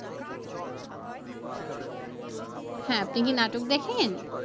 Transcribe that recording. হ্যাঁ আপনি কি নাটক দেখেন?